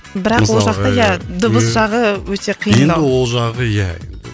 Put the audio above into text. бірақ ол жақта иә дыбыс жағы өте қиындау енді ол жағы иә